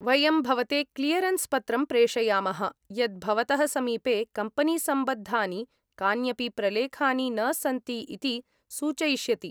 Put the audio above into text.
वयं भवते क्लियरन्स् पत्रं प्रेषयामः, यत् भवतः समीपे कम्पनीसम्बद्धानि कान्यपि प्रलेखानि न सन्ति इति सूचयिष्यति।